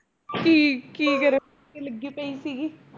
ਕੀ ਕੀ ਕਰਾਉਣ ਤੇ ਲੱਗੀ ਪਈ ਸੀਗੀ?